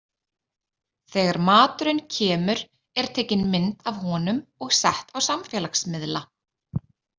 Þegar maturinn kemur er tekin mynd af honum og sett á samfélagsmiðla.